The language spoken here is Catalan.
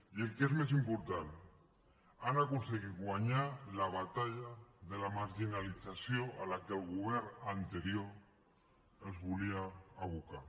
i el que és més important han aconseguit guanyar la batalla de la marginalització a la qual el govern anterior els volia abocar